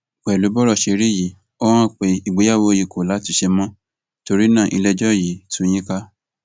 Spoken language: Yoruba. pẹlú bọrọ ṣe rí yìí ó hàn pé ìgbéyàwó yìí kò látúnṣe mọ torí náà iléẹjọ yìí tú yín ká